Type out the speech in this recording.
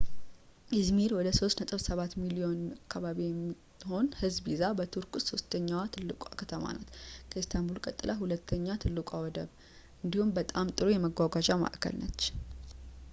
ኢዝሚር ወደ 3.7 ሚሊዮን አካባቢ የሚሆን ህዝብ ይዛ በቱርክ ውስጥ ሶስተኛ ትልቋ ከተማ ናት ከኢስታንቡል ቀጥላ ሁለተኛ ትልቋ ወደብ እንዲሁም በጣም ጥሩ የመጓጓዣ ማእከል ናት